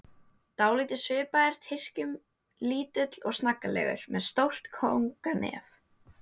Dálítið svipaður Tyrkjum, lítill og snaggaralegur, með stórt kónganef.